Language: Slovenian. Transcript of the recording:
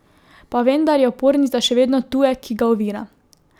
Pa vendar je opornica še vedno tujek, ki ga ovira.